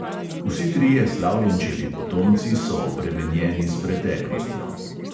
Vsi trije slavljenčevi potomci so obremenjeni s preteklostjo.